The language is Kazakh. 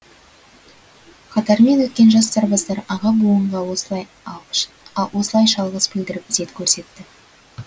қатармен өткен жас сарбаздар аға буынға осылайша алғыс білдіріп ізет көрсетті